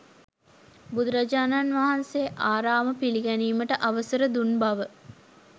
බුදුරජාණන් වහන්සේ ආරාම පිළිගැනීමට අවසර දුන් බව